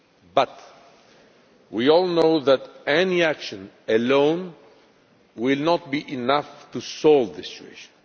But we all know that any action alone will not be enough to solve the situation.